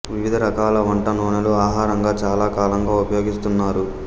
వివిధ రకాల వంట నూనెలు ఆహారంగా చాలా కాలంగా ఉపయోగిస్తున్నారు